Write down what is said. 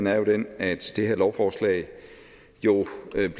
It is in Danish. er jo den at det her lovforslag